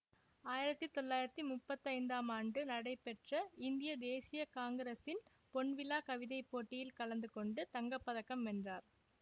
ஆயிரத்தி தொள்ளாயிரத்தி முப்பத்தி ஐந்தாம் ஆண்டு நடைபெற்ற இந்திய தேசிய காங்கிரசின் பொன்விழா கவிதை போட்டியில் கலந்து கொண்டு தங்க பதக்கம் வென்றார்